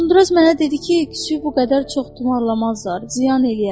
Uzunduraz mənə dedi ki, küşünü bu qədər çox təmarlamazlar, ziyan eləyər.